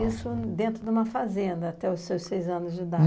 isso dentro de uma fazenda até os seus seis anos de idade?